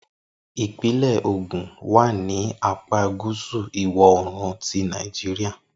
Ipinle Ogun wa ni apa gusu iwọ-oorun ti Nàìjíríà.